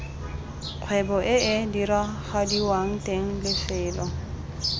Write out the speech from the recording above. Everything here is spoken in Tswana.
kgwebo ee diragadiwang teng lefelo